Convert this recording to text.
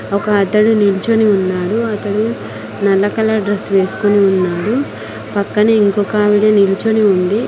ఒక అతడు నిలుచుని ఉన్నాడు అతడు నల్ల కలర్ డ్రెస్ వేసుకుని ఉన్నాడు పక్కనే ఇంకొక ఆవిడ నిలుచుని ఉంది.